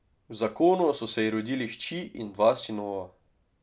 V zakonu so se ji rodili hči in dva sinova.